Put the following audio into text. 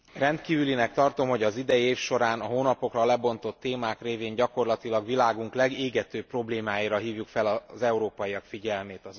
Rendkívülinek tartom, hogy az idei év során a hónapokra lebontott témák révén gyakorlatilag világunk legégetőbb problémáira hívjuk fel az európaiak figyelmét.